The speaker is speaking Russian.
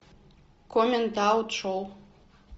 коммент аут шоу